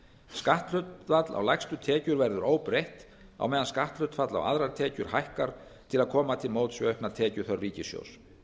skatthlutfall á lægstu tekjur verður óbreytt á meðan skatthlutfall á aðrar tekjur hækkar til að koma til móts við aukna tekjuþörf ríkissjóðs